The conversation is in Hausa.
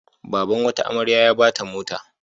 Baban wata amarya a ba ta mota.